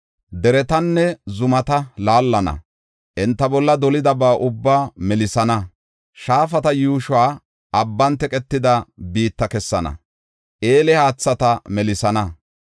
Deretanne zumata laallana; enta bolla dolidaba ubbaa melisana. Shaafata yuushoy abban teqetida biitta kessana; eele haathata melisana.